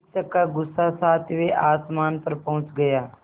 शिक्षक का गुस्सा सातवें आसमान पर पहुँच गया